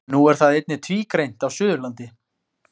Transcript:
Nú er það einnig tvígreint á Suðurlandi.